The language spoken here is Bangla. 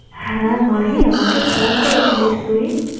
হ্যাঁ মাহি আমাকে ফোন করে ছিলিস তুই?